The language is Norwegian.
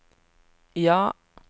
ja